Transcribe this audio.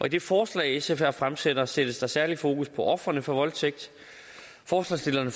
i det forslag sf her fremsætter sættes der særligt fokus på ofrene for voldtægt forslagsstillerne